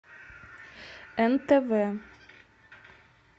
нтв